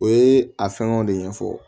O ye a fɛngɛw de ɲɛfɔ